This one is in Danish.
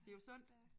Det er jo sundt